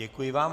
Děkuji vám.